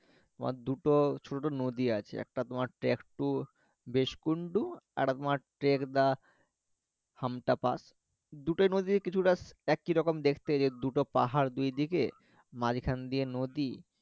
তোমার দুটো ছোট ছোট নদী আছে একটা তোমারটা একটু বেশপুন্ডূ আর একটা তোমার দুটার মাঝে কিছু টা একই রকম দেখতে যে দুটো পাহাড় দুইদিকে মাঝ খান দিয়ে নদী